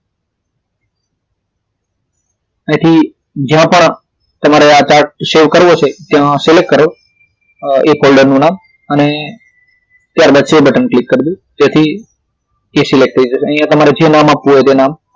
હવેથી જયા પણ તમારે આ chart save કરવો છે તો select કરો એ ફોલ્ડર નું નામ અને ત્યારબાદ સેવ બટન પર ક્લિક કર લો તેથી તે select થઈ જશે અહિયાં તમારે જે નામ આપવું હોય તે નામ